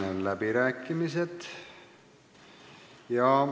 Sulgen läbirääkimised.